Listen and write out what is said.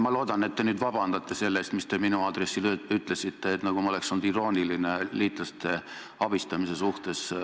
Ma loodan, et te palute nüüd vabandust selle eest, mis te minu aadressil ütlesite, nagu ma oleksin olnud irooniline liitlaste abistamise suhtes.